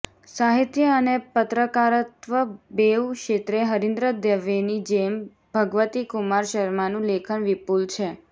સાહિત્ય અને પત્રકારત્વ બેઉ ક્ષેત્રે હરીન્દ્ર દવેની જેમ ભગવતીકુમાર શર્માનું લેખન વિપુલ છે